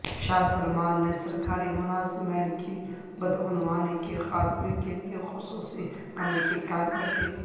شاہ Salman نے سرکاری ملازمین کی بدعنوانی کے خاتمے کےلئے خصوصی کمیٹی قائم کر دی